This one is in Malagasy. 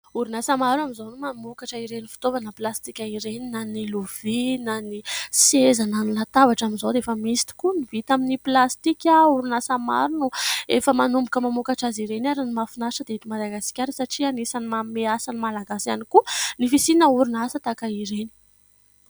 Orinasa maro amin'izao no mamokatra ireny fitaovana plastika ireny, na ny lovia na ny seza na ny latabatra amin'izao dia efa misy tokoa ny vita amin'ny plastika. Orinasa maro no efa manomboka mamokatra azy ireny, ary ny mahafinatra dia eto Madagasikara, satria anisan'ny manome asa ny Malagasy ihany koa ny fisiana orinasa tahaka ireny.